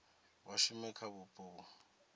vha shume kha vhupo vhu